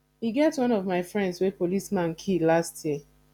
e get one of my friends wey policeman kill last year